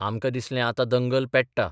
आमकां दिसलें आतां दंगल पेट्टा.